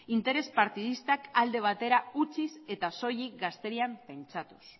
interes partidistak alde batera utziz eta soilik gazterian pentsatuz